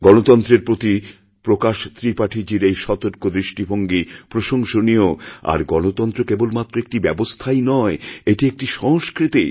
গণতন্ত্রের প্রতি প্রকাশ ত্রিপাঠীজীর এই সতর্কদৃষ্টিভঙ্গি প্রশংসনীয় আর গণতন্ত্র কেবলমাত্র একটি ব্যবস্থাই নয় এটি একটিসংস্কৃতি